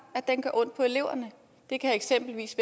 at den gør ondt på eleverne det kan eksempelvis